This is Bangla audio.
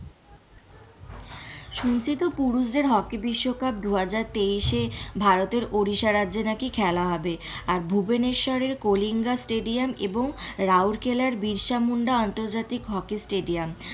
শুনছি তো পুরুষদের হকি বিশ্বকাপ দুহাজার তেইশ এ ভারতের ওড়িষ্যা রাজ্যে নাকি খেলা হবে আর ভুবনেশ্বরে কলিঙ্গা স্টেডিয়াম এবং রাউরকেল্লা বিরসা মুন্ডা আন্তর্জাতিক হকি স্টেডিয়াম,